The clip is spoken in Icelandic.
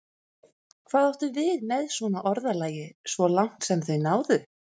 Hvað áttu við með svona orðalagi: svo langt sem þau náðu?